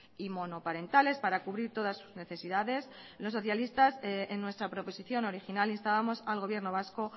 y monoparentales para cubrir todas sus necesidades los socialistas en nuestra proposición original instábamos al gobierno vasco